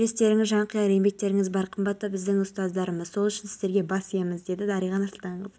александр камышанский мердігер компанияның өкілі авторлары ақмарал есімханова қанат әбілдин республиканың басым бөлігінде тұрақсыз ауа райы